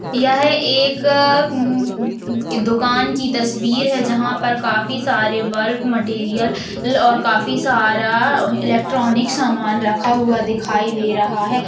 यह एक अं उ दुकान की तस्वीर है जहां पर काफी सारे बल्ब मटेरियल और काफी सारा इलेक्ट्रॉनिक सामान रखा हुआ दिखाई दे रहा है।